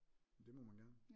Det må man gerne